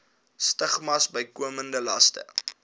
stigmas bykomende laste